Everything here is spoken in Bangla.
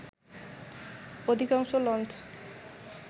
অধিকাংশ লঞ্চ